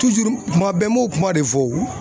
kuma bɛɛ n m'o kuma de fɔ o.